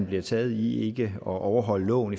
bliver taget i ikke at overholde loven